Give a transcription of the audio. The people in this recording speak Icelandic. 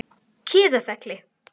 Kiðafelli